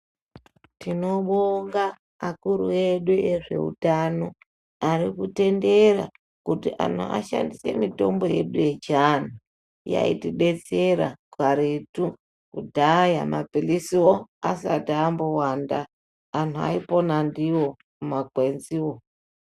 Tinobonga akuru edu ezveutano, ari kutendera kuti anhu ashandise mitombo yedu yechianhu, yaitidetsera karetu kudhaya mapilisiwo asati ambowanda, anhu ayipona ndiwo makwenziwo.